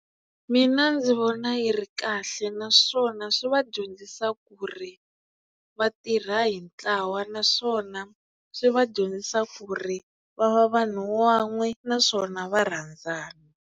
Mina ndzi vona yi ri kahle naswona swi va dyondzisa ku ri va tirha hi ntlawa naswona swi va dyondzisa ku ri va va vanhu van'we naswona va rhandzana.